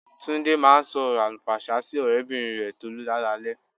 Túndé máa ń sọ ọrọ àlùfàǹsá sí ọ̀rẹ́bìnrin rẹ Tolú lálaalẹ́